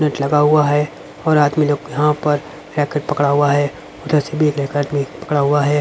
Net लगा हुआ है और आदमी लोग यहां पर रैकेट पकड़ा हुआ है इधर से भी पकड़ा हुआ है.